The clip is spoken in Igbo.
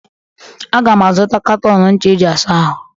Aga m azụta katọn ncha eji-asa ahụ